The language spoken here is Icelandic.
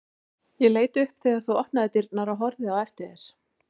Ég leit upp þegar þú opnaðir dyrnar og horfði á eftir þér.